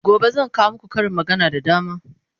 gobe zan kawo maku Karin magana da dama